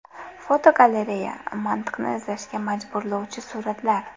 Fotogalereya: Mantiqni izlashga majburlovchi suratlar.